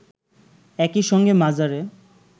একই সঙ্গে মাজারে